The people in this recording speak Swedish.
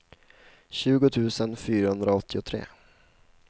tjugo tusen fyrahundraåttiotre